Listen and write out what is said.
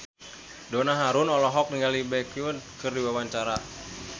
Donna Harun olohok ningali Baekhyun keur diwawancara